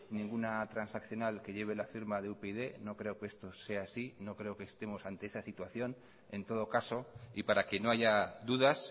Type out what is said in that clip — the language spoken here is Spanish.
ninguna transaccional que lleve la firma de upyd no creo que esto sea así no creo que estemos ante esta situación en todo caso y para que no haya dudas